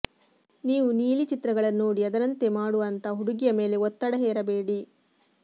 ನೀವು ನೀಲಿ ಚಿತ್ರಗಳನ್ನು ನೋಡಿ ಅದರಂತೆ ಮಾಡು ಅಂತ ಹುಡುಗಿಯ ಮೇಲೆ ಒತ್ತಡ ಹೇರಬೇಡಿ